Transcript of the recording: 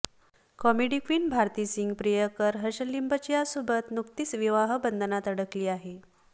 comedy queen Bharti Singh प्रियकर हर्ष लिंबाचियासोबत नुकतीच विवाहबंधनात अडकली आहे